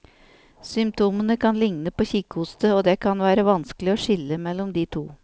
Symptomene kan ligne på kikhoste, og det kan være vanskelig å skille mellom de to.